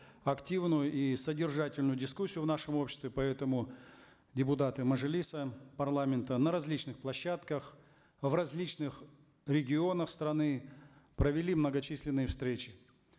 активную и содержательную дискуссию в нашем обществе поэтому депутаты мажилиса парламента на различных площадках в различных регионах страны провели многочисленные встречи